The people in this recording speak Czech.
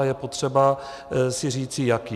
A je potřeba si říci, jaký.